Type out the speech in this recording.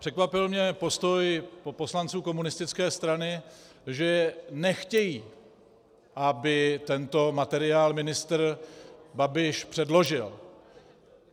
Překvapil mě postoj poslanců komunistické strany, že nechtějí, aby tento materiál ministr Babiš předložil.